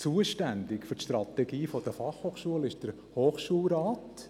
Zuständig für die Strategie der BFH ist der Hochschulrat.